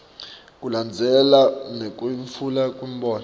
kulandzelana nekwetfulwa kwemibono